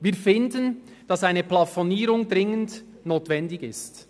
Wir finden, dass eine Plafonierung dringend notwendig ist.